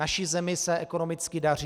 Naší zemi se ekonomicky daří.